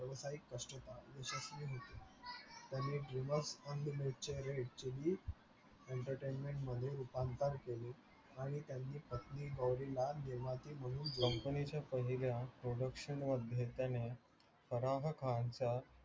त्यानी actuallyentertainment मध्ये रुपांतर केले आणि त्यांनी पत्नी गौवरीला निर्माती म्हणून company च्या पहिल्या production घेतल्याने फराह खानच्या